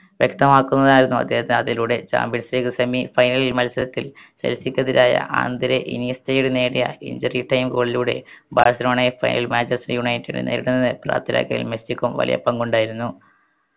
വ്യക്തമാക്കുന്നതിനായിരുന്നു അദ്ദേഹത്തിന് അതിലൂടെ champions league semifinal മത്സരത്തിൽ മെസ്സിക്കെതിരായ നേടിയ injury time goal ലൂടെ ബാഴ്‌സലോണയെ final manchester united നെ നേരിടുന്നതിന് മെസ്സിക്കും വലിയ പങ്കുണ്ടായിരുന്നു